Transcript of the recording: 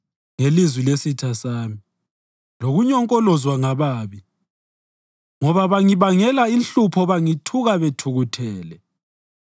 ngelizwi lesitha sami, lokunyonkolozwa ngababi; ngoba bangibangela inhlupho bangithuka bethukuthele.